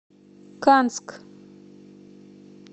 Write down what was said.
канск